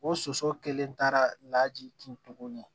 O soso kelen taara laji kin tuguni